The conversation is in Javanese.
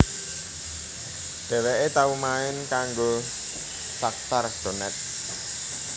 Dhèwèké tau main kanggo Shakhtar Donetsk